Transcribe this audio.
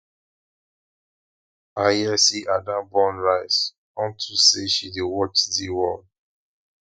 i hear say ada burn rice unto say she dey watch zeaworld